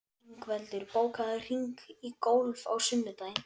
Ingveldur, bókaðu hring í golf á sunnudaginn.